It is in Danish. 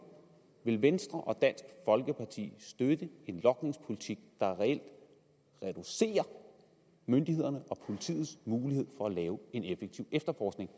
vil venstre og dansk folkeparti støtte en logningspolitik der reelt reducerer myndighederne og politiets mulighed for at drive en effektiv efterforskning